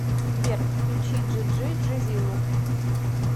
сбер включи джи джи джизилу